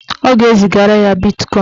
Ọ ga-ezigara ya bitkọin.